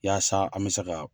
Yaaasa an be se ka